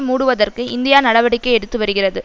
மூடுவதற்கு இந்தியா நடவடிக்கை எடுத்து வருகிறது